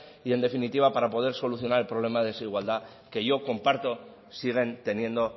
y en definitiva para poder solucionar el problema de desigualdad que yo comparto siguen teniendo